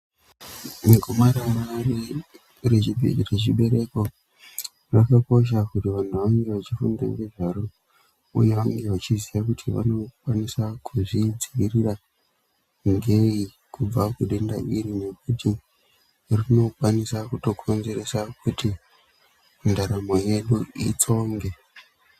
Negomarara rechibereko rakakosha kuti vantu vange vachifunda ngezvaro uye vange vachiziya kuti vanokwanisa kuzvidziirira ngeyi kubva kudenda iri nekuti rinokwanisa kutokonzeresa kuti ndaramo yedu itsonge.